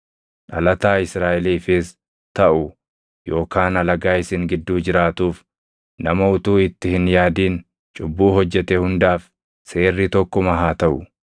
Dhalataa Israaʼeliifis taʼu yookaan alagaa isin gidduu jiraatuuf, nama utuu itti hin yaadin cubbuu hojjete hundaaf seerri tokkuma haa taʼu.